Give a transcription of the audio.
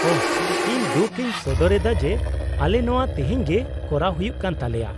-ᱳᱦᱚ, ᱤᱧ ᱫᱩᱠ ᱤᱧ ᱥᱚᱫᱚᱨ ᱮᱫᱟ ᱡᱮ ᱟᱞᱮ ᱱᱚᱶᱟ ᱛᱤᱦᱤᱧᱜᱮ ᱠᱚᱨᱟᱣ ᱦᱩᱭᱩᱜ ᱠᱟᱱ ᱛᱟᱞᱮᱭᱟ ᱾